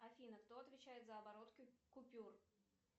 афина кто отвечает за оборот купюр